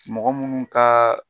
Mɔgɔ munnu ka